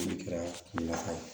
O de kɛra laha ye